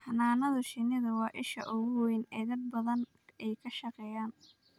Xannaanada shinnidu waa isha ugu weyn ee dad badan ay ka shaqeeyaan.